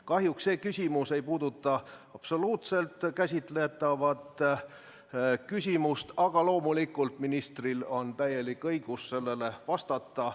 Kahjuks see küsimus ei puuduta absoluutselt käsitletavat probleemi, aga loomulikult on ministril täielik õigus sellele vastata.